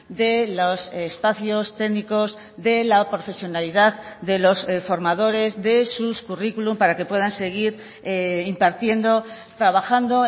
de los espacios técnicos de la profesionalidad de los formadores de sus curriculum para que puedan seguir impartiendo trabajando